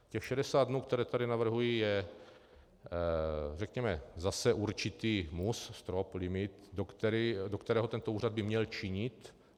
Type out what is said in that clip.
Těch 60 dnů, které tady navrhuji, je řekněme zase určitý mus, strop, limit, do kterého tento úřad by měl činit.